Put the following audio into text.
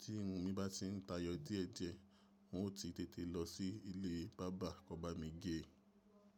Tí irun mi bá ti ń tayọ díẹ̀ díẹ̀, n o ti tètè lọ sí ilé barber ko ba mi gé e.